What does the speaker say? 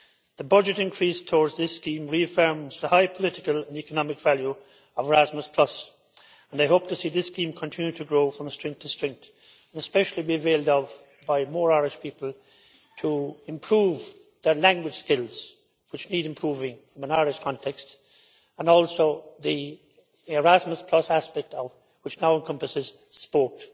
The budget increase towards this scheme reaffirms the high political and economic value of Erasmus and I hope to see this scheme continue to grow from strength to strength, and especially be availed of by more Irish people to improve their language skills, which need improving from an Irish context, and also the Erasmus aspect which now encompasses sport.